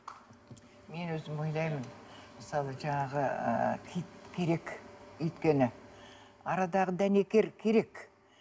мен өзім ойлаймын мысалы жаңағы ыыы киіт керек өйткені арадағы дәнекер керек